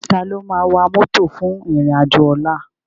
Táló má wá mòtó fún irin ájò òlà?